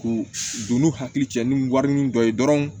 K'u don n'u hakili cɛ ni warinin dɔ ye dɔrɔn